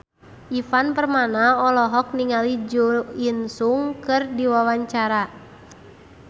Ivan Permana olohok ningali Jo In Sung keur diwawancara